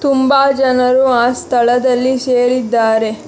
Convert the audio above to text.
ತುಂಬಾ ಜನರು ಆ ಸ್ಥಳದಲ್ಲಿ ಸೇರಿದ್ದಾರೆ.